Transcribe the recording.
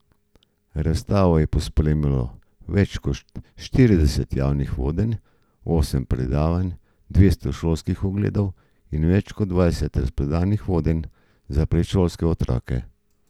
Razstavo je pospremilo več kot štirideset javnih vodenj, osem predavanj, dvesto šolskih ogledov in več kot dvajset razprodanih vodenj za predšolske otroke.